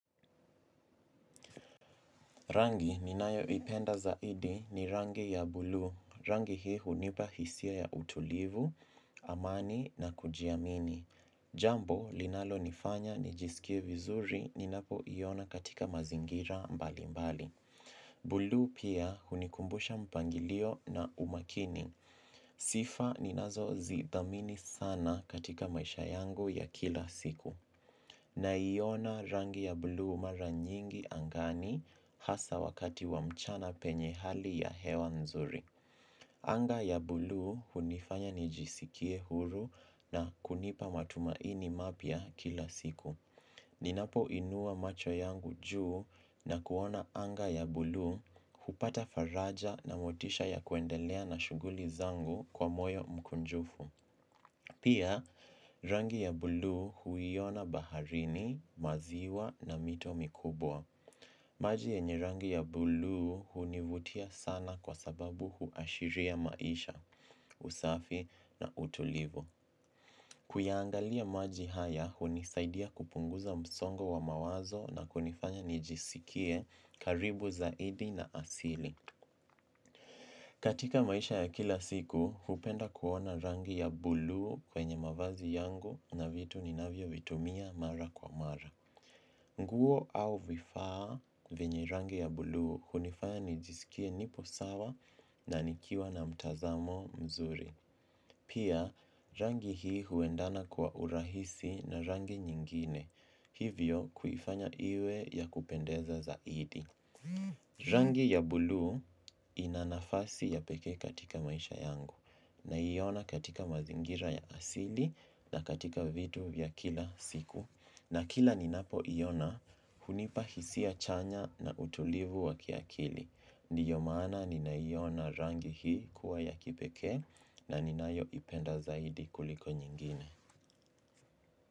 Rangi ni nayo ipenda zaidi ni rangi ya bluu. Rangi hii hunipa hisia ya utulivu, amani na kujiamini. Jambo linalo nifanya ni jisikie vizuri ni napo iona katika mazingira mbali mbali. Bluu pia hunikumbusha mpangilio na umakini. Sifa ni nazo zithamini sana katika maisha yangu ya kila siku. Na iona rangi ya bluu mara nyingi angani hasa wakati wa mchana penye hali ya hewa nzuri. Anga ya bluu hunifanya nijisikie huru na kunipa matumaini mapya kila siku. Ninapo inua macho yangu juu na kuona anga ya bluu hupata faraja na motisha ya kuendelea na shughuli zangu kwa moyo mkunjufu. Pia, rangi ya bluu huiona baharini, maziwa na mito mikubwa. Maji yenye rangi ya bluu hunivutia sana kwa sababu huashiria maisha, usafi na utulivu. Kuya angalia maji haya, hunisaidia kupunguza msongo wa mawazo na kunifanya nijisikie karibu zaidi na asili. Katika maisha ya kila siku, hupenda kuona rangi ya bluu kwenye mavazi yangu na vitu ni navyo vitumia mara kwa mara. Nguo au vifaa vyenye rangi ya bluu hunifaya nijisikie nipo sawa na nikiwa na mtazamo mzuri. Pia rangi hii huendana kwa urahisi na rangi nyingine. Hivyo kuifanya iwe ya kupendeza zaidi. Rangi ya bluu inanafasi ya pekee katika maisha yangu. Na iona katika mazingira ya asili na katika vitu vya kila siku. Na kila ni napo iona hunipa hisia chanya na utulivu wa kiakili. Ndiyo maana nina iona rangi hii kuwa ya kipekee na ninayo ipenda zaidi kuliko nyingine.